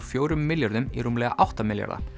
fjórum milljörðum í rúmlega átta milljarða